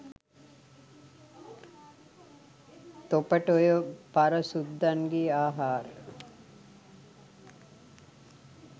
තොපට ඔය පර සුද්දන්ගේ ආහාර